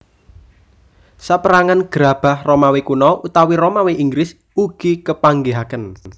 Sapérangan gerabah Romawi Kuno utawi Romawi Inggris ugi kepanggihaken